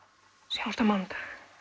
sjáumst á mánudag